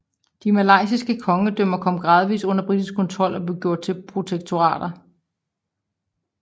De malayiske kongedømmer kom gradvis under britisk kontrol og blev gjort til protektorater